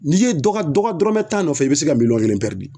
N'i ye dɔ ka dɔ ka dɔrɔmɛ tan nɔfɛ i bɛ se ka miliyɔn kelen pɛridi.